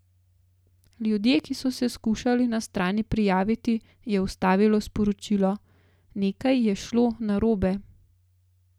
Ljudje, ki so se skušali na stran prijaviti, je ustavilo sporočilo: "Nekaj je šlo narobe.